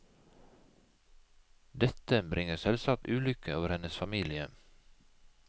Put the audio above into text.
Dette bringer selvsagt ulykke over hennes familie.